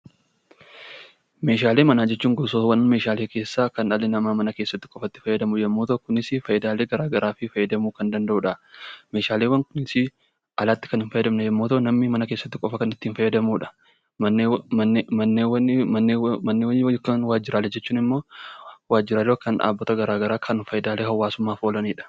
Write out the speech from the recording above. Meeshaaleewwan manaa jechuun gosoota meeshaalee keessaa kan dhalli namaa mana keessatti itti fayyadamu yoo ta'u, Isaanis gosoota garaagaraa fayidalee garaagaraa fayyadamuu kan dandeenyudha. Meeshaaleen kunneenis alatti kan hin fayyadne yommuu ta'u, namni mana keessatti qofaa kan itti fayyadamudha. Kan waajjiraalee jechuun immoo waajjiraalee yookiin dhaabbata tajaajila hawaasummaaf gargaaranidha